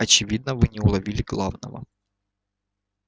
очевидно вы не уловили главного